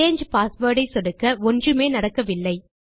சாங்கே password ஐ சொடுக்க ஒன்றுமே நடக்கவில்லை